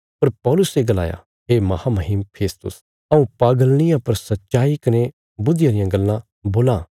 पर पौलुसे गलाया हे महामहीम फेस्तुस हऊँ पागल निआं पर सच्चाई कने बुद्धिया रियां गल्लां बोलां